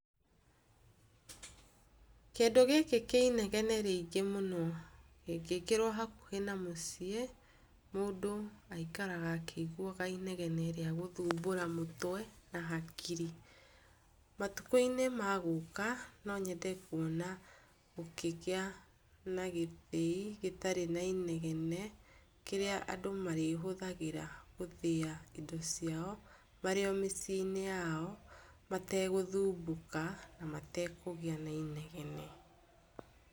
Kĩndũ gĩkĩ kĩ inegene rĩngĩ mũno kĩngĩkĩrwo hakuhĩ na mũciĩ mũndũ aikaraga akĩiguaga inegene rĩa gũthumbũra mũtwe na hakiri, matukũ-inĩ magũka no nyende kwona gũkĩgĩa na gĩthĩi gĩtarĩ na inegene kĩrĩa andũ marĩhũthagĩra gũthĩa indo ciao marĩ o mĩciĩnĩ yao mategũthumbũka na matekũgĩa na inegene.